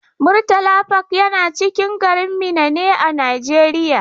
Murtala park yana cikin garin Minna ne a Najeriya.